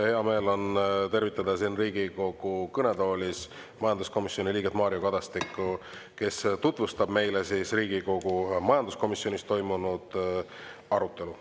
Hea meel tervitada Riigikogu kõnetoolis majanduskomisjoni liiget Mario Kadastikku, kes tutvustab meile Riigikogu majanduskomisjonis toimunud arutelu.